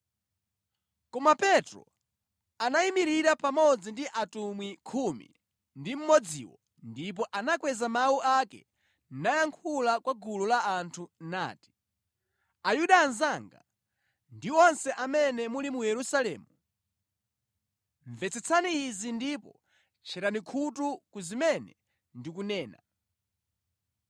Koma Petro anayimirira pamodzi ndi atumwi khumi ndi mmodziwo ndipo anakweza mawu ake nayankhula kwa gulu la anthu nati: “Ayuda anzanga, ndi nonse amene muli mu Yerusalemu, mvetsetsani izi ndipo tcherani khutu ku zimene ndikunena.